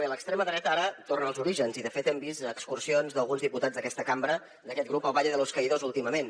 bé l’extrema dreta ara torna als orígens i de fet hem vist excursions d’alguns diputats d’aquesta cambra d’aquest grup al valle de los caídos últimament